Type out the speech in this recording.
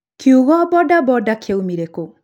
Kiugo Boda Boda kĩoimire kũ?